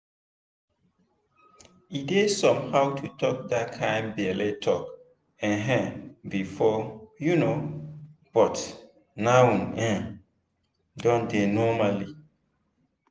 e dey somehow to talk that kind belle talk um before um but now e um don dey normal.